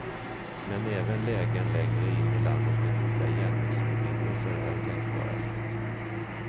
Men även lägen längre in i landet med goda järnvägsförbindelser är tänkbara.